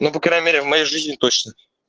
ну по крайней мере в моей жизни точно